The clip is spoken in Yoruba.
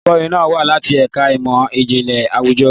Olùkọ́ni náà wá láti ẹ̀ka ìmọ̀ ìjìnlẹ̀ àwùjọ.